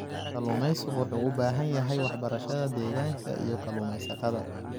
Kalluumaysigu wuxuu u baahan yahay waxbarashada deegaanka ee kalluumaysatada.